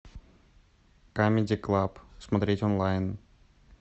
камеди клаб смотреть онлайн